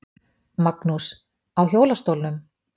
Magnús: Á hjólastólnum?